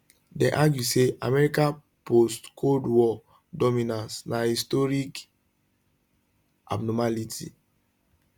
dem argue say america postcold war dominance na historical abnormality